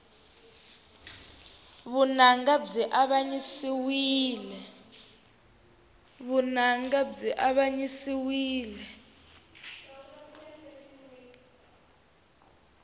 vunanga byi avanyisiwile